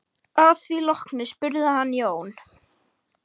Að því loknu spurði hann Jón